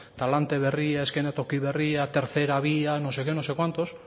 talante berria eszenatoki berria tercera vía no sé qué no sé cuántos